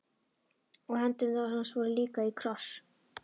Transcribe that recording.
Og hendur hans voru líka í kross.